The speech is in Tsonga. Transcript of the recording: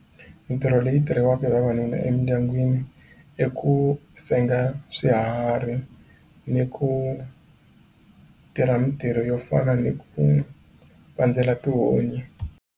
Mintirho leyi tirhiwaka hi vavanuna emindyangwini i ku senga swiharhi ni ku tirha mintirho yo fana ni ku pandzela tihunyi.